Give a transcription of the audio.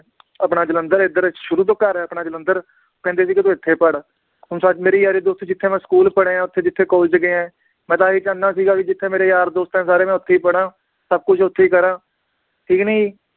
ਆਪਣਾ ਜਲੰਧਰ ਏਧਰ ਸ਼ੁਰੂ ਤੋਂ ਘਰ ਆ ਆਪਣਾ ਜਲੰਧਰ ਕਹਿੰਦੇ ਵੀ ਕਿ ਤੂੰ ਇਥੇ ਪੜ੍ਹ ਹੁਣ ਸ ਮੇਰੀ ਯਾਰੀ ਦੋਸਤੀ ਜਿਥੇ ਮੈ school ਪੜ੍ਹਿਆ ਓਥੇ ਜਿਥੇ college ਗਿਆ ਮੈ ਤਾਂ ਆਹ ਹੀ ਚਾਹੁੰਦਾ ਸੀਗਾ ਵੀ ਜਿਥੇ ਮੇਰੇ ਯਾਰ ਦੋਸਤ ਆ ਸਾਰੇ ਮੈ ਓਥੇ ਈ ਪੜ੍ਹਾਂ, ਸਬ ਕੁਛ ਓਥੇ ਈ ਕਰਾਂ